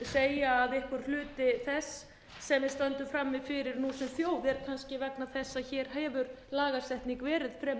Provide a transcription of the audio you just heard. hluti þess sem við stöndum frammi fyrir nú sem þjóð er kannski vegna þess að hér hefur lagasetning verið fremur